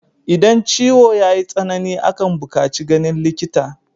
Idan ciwo yayi tsanani akan bukaci ganin likita